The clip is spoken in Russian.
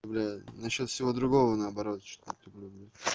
насчёт всего другого наоборот что люблю